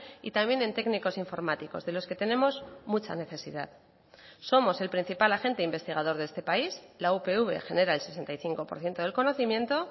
y también en técnicos informáticos de los que tenemos mucha necesidad somos el principal agente investigador de este país la upv genera el sesenta y cinco por ciento del conocimiento